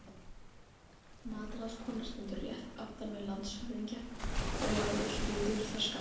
Matráðskona stendur rétt aftan við landshöfðingja og Lárus bíður þar skammt frá.